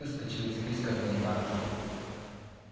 выскочил из списка контактов